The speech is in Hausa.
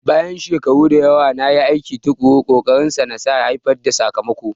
Bayan shekaru da yawa na aiki tuƙuru, ƙokarinsa nasa ya haifar da sakamako.